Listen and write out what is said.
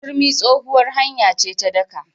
Turmi tsohuwar hanya ce ta daƙa.